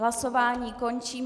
Hlasování končím.